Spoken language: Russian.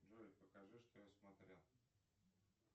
джой покажи что я смотрел